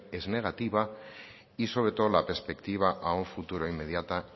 es negativa y sobre todo la perspectiva a un futuro inmediata